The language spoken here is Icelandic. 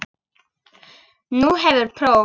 Nú hefur próf.